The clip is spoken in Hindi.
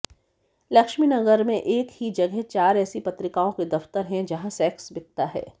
लक्ष्मीनगर में एक ही जगह चार ऐसी पत्रिकाओं के दफ्तर हैं जहां सेक्स बिकता है